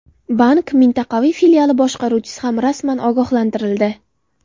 Bank mintaqaviy filiali boshqaruvchisi ham rasman ogohlantirildi.